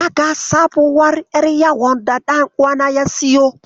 Naga sabuwar ƴar yawon da ɗan uwana ya siyo.